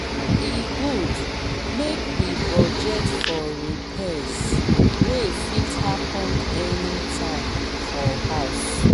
e good make we budget for repairs wey fit happen anytime for house.